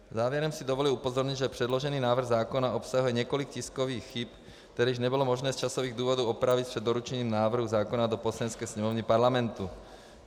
Závěrem si dovoluji upozornit, že předložený návrh zákona obsahuje několik tiskových chyb, které nebylo možné z časových důvodů opravit před doručením návrhu zákona do Poslanecké sněmovny Parlamentu.